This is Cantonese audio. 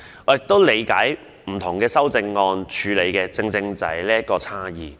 我也理解不同修正案所處理的正正是這種差異。